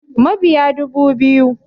Mabiya dubu biyu